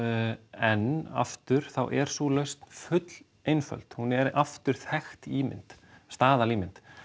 en aftur þá er sú lausn full einföld hún er aftur þekkt ímynd staðalímynd